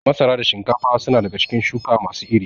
Masara da shinkafa su na daga cikin shuka ma su iri